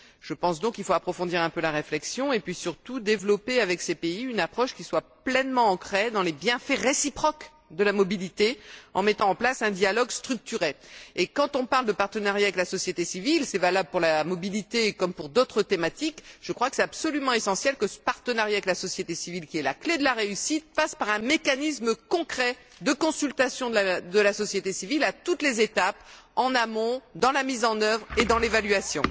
Je pense donc qu'il faut approfondir un peu la réflexion et puis, surtout, développer avec ces pays une approche qui soit pleinement ancrée dans les bienfaits réciproques de la mobilité, en mettant en place un dialogue structuré. Et quand on parle de partenariat avec la société civile cela vaut pour la mobilité comme pour d'autres thématiques il est absolument essentiel que ce partenariat avec la société civile, qui est la clé de la réussite, passe par un mécanisme concret de consultation de la société civile à toutes les étapes, en amont, dans la mise en œuvre et dans l'évaluation.